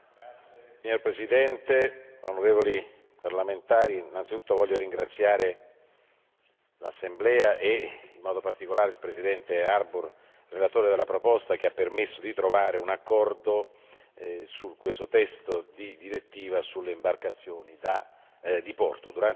Signor Presidente, onorevoli parlamentari, innanzitutto voglio ringraziare l'Assemblea e, in modo particolare, il presidente Harbour, relatore della proposta, che ha permesso di trovare un accordo su questo testo di direttiva sulle imbarcazioni da diporto.